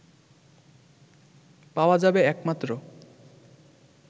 পাওয়া যাবে একমাত্র